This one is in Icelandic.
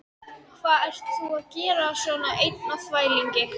Hvað ert þú að gera svona einn á þvælingi?